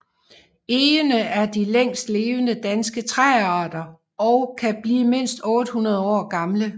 Egene er de længstlevende danske træarter og kan blive mindst 800 år gamle